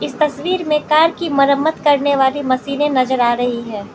तस्वीर में कार की मरम्मत करने वाली मशीने नजर आ रही है।